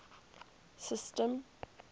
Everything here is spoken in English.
system